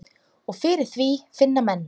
Og fyrir því finna menn.